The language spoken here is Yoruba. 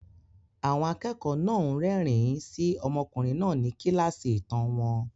Àwọn akẹ́kọ̀ọ́ náà ń rẹ́rìn-ín sí ọmọkùnrin náà ní kíláàsì ìtàn wọn.